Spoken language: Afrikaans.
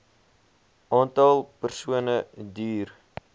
aantal persone duur